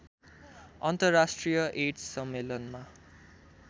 अन्तर्राष्ट्रिय एड्स सम्मेलनमा